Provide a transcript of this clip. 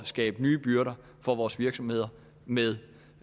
skabe nye byrder for vores virksomheder med